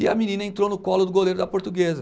E a menina entrou no colo do goleiro da portuguesa.